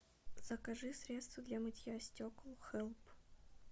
закажи средство для мытья стекол хелп